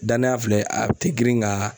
Danaya filɛ a te girin ŋaa